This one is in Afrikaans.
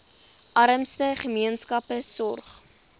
armste gemeenskappe sorg